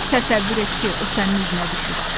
Təsəvvür et ki, o sənin izinə düşüb.